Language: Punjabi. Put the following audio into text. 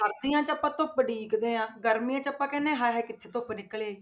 ਸਰਦੀਆਂ 'ਚ ਆਪਾਂ ਧੁੱਪ ਉਡੀਕਦੇ ਹਾਂ, ਗਰਮੀਆਂ 'ਚ ਆਪਾਂ ਕਹਿੰਦੇ ਹਾਂ ਹਾਏ ਹਾਏ ਕਿੱਥੇ ਧੁੱਪ ਨਿਕਲ ਆਈ।